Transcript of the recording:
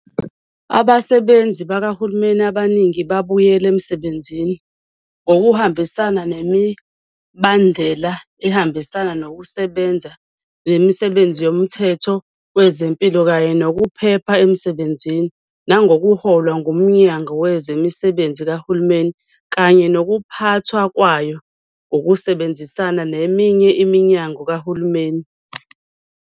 Abasebenzi bakahulumeni abaningi babuyelile emsebenzini ngokuhambisana nemibandela ehambisana Nokusebenza Komthetho Wezempilo kanye Nokuphepha Emsebenzini, nangokuholwa nguMnyango Wezemisebenzi Kahulumeni kanye Nokuphathwa Kwayo ngokusebenzisana neminye iminyango kahulumeni.